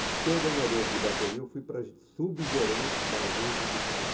E de coordenador de bateria eu fui para subgerente da agência de pinhal.